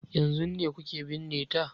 Yanzun ne kuke binne ta?